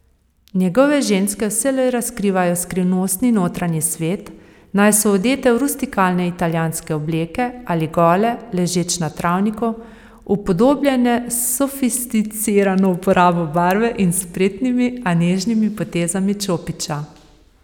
Njegove ženske vselej razkrivajo skrivnostni notranji svet, naj so odete v rustikalne italijanske obleke ali gole, ležeč na travniku, upodobljene s sofisticirano uporabo barve in spretnimi, a nežnimi potezami čopiča.